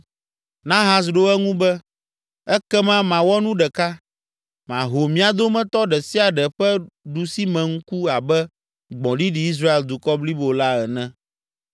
Nahas ɖo eŋu be, “Ekema mawɔ nu ɖeka; maho mia dometɔ ɖe sia ɖe ƒe ɖusimeŋku abe gbɔ̃ɖiɖi Israel dukɔ blibo la ene!”